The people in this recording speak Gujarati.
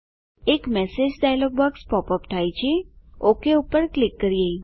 એક message dialog box pop up થાય છે ઓક પર ક્લિક કરીએ